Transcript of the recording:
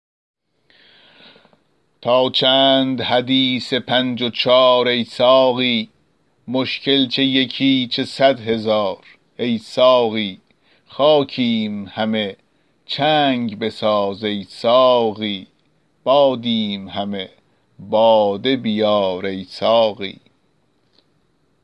تا چند حدیث پنج و چار ای ساقی مشکل چه یکی چه صد هزار ای ساقی خاکیم همه چنگ بساز ای ساقی بادیم همه باده بیار ای ساقی